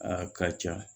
A ka ca